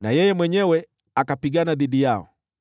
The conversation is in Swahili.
na yeye mwenyewe akapigana dhidi yao.